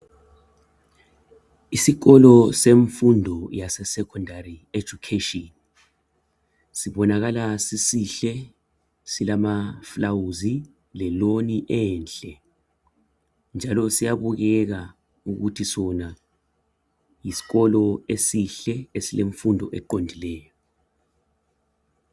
Isikolo semfundo yaseSecondary Education, sibonakala sisihle silama flawuzi le loni enhle njalo siyabukeka futhi sona yiskolo esihle esilemfundo eqondileyo.